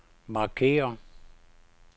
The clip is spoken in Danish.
markér